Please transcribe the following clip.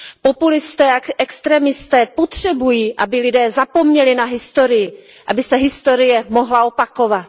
Populisté a extrémisté potřebují, aby lidé zapomněli na historii, aby se historie mohla opakovat.